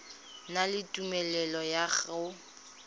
na le tumelelo ya go